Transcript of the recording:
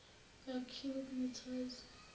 nga cubic mithazi